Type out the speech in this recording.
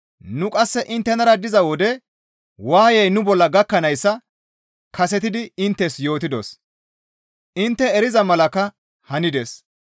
Nu qasse inttenara diza wode waayey nu bolla gakkanayssa kasetidi inttes yootidos; intte eriza malakka hanides.